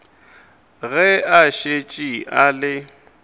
ge a šetše a le